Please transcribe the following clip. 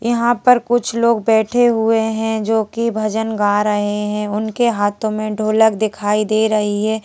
यहां पर कुछ लोग बैठे हुए हैं जोकि भजन गा रहे हैं उनके हाथों में ढोलक दिखाई दे रही है।